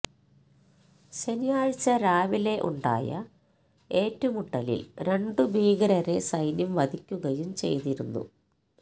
ശനിയാഴ്ച രാവിലെ ഉണ്ടായ ഏറ്റുമുട്ടലില് രണ്ട് ഭീകരരെ സൈന്യം വധിക്കുകയും ചെയ്തിരുന്നു